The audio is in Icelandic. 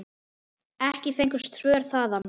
Ekki fengust svör þaðan.